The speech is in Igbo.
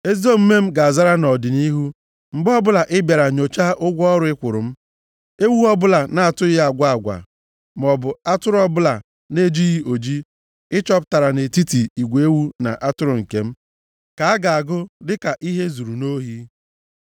Ezi omume m ga-azara nʼọdịnihu, mgbe ọbụla ị bịara nyochaa ụgwọ ọrụ ị kwụrụ m. Ewu ọbụla na-atụghị agwa agwa, maọbụ atụrụ ọbụla na-ejighị oji ị chọpụtara nʼetiti igwe ewu na atụrụ nke m ka a ga-agụ dị ka ihe e zuru nʼohi.”